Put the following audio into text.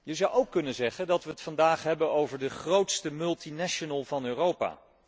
Je zou ook kunnen zeggen dat wij het vandaag hebben over de grootste multinational van Europa.